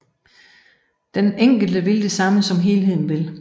Den enkelte vil det samme som helheden vil